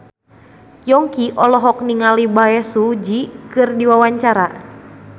Yongki olohok ningali Bae Su Ji keur diwawancara